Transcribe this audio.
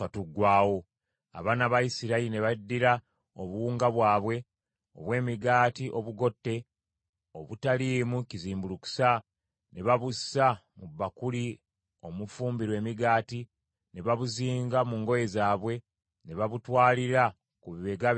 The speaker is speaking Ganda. Abaana ba Isirayiri ne baddira obuwunga bwabwe obw’emigaati obugotte, obutaliimu kizimbulukusa, ne babussa mu bbakuli omufumbirwa emigaati, ne babuzinga mu ngoye zaabwe, ne babutwalira ku bibegabega byabwe.